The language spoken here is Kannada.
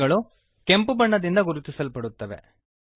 ಸ್ಟ್ರಿಂಗ್ಸ್ ಗಳು ಕೆಂಪು ಬಣ್ಣದಿಂದ ಗುರುತಿಸಲ್ಪಡುತ್ತವೆ